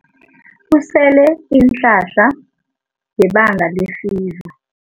Usele iinhlahla ngebanga lefiva.